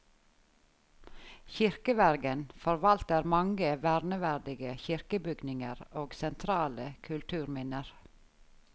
Kirkevergen forvalter mange verneverdige kirkebygninger og sentrale kulturminner.